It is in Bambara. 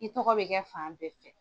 I tɔgɔ bɛ kɛ fan bɛɛ fɛ